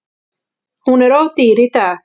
Hún er of dýr í dag.